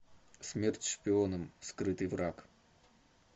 смерть шпионам скрытый враг